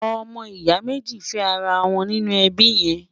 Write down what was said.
ọmọ ìyà méjì fé ará wón nínú ẹbí yèn